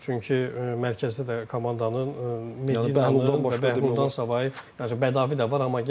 Çünki mərkəzdə də komandanın yəni Məhlu bundan savayı bədavi də var.